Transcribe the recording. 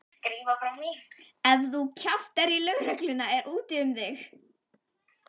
Ef þú kjaftar í lögregluna er úti um þig.